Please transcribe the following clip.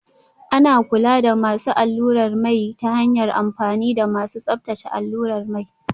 Ana kula da masu allurar mai ta hanyar amfani da masu tsabtace allurar mai